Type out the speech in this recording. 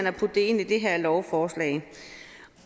at putte det ind i det her lovforslag